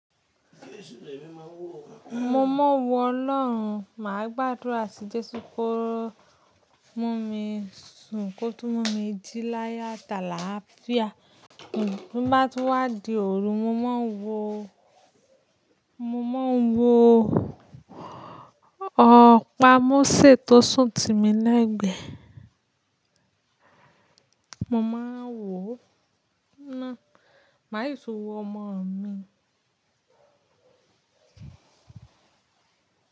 Mo mọ́wọ́ Ọlọ́run, màá gbàdúrà sí Jésù kó mú mi sùn, kó tún mú mi jí láyo atàlááfíà. Toba di bá di òru, mo máa ń wo, mo máa ń wo ọ̀pá mose tó sùn ti mi lẹ́ẹ̀gbẹ́. Mo máa ń wò ó náà, màá yí so wọ ọmọ mi.